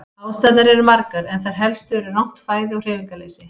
Ástæðurnar eru margar en þær helstu eru rangt fæði og hreyfingarleysi.